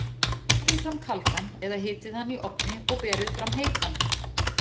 Berið réttinn fram kaldan eða hitið hann í ofni og berið fram heitan.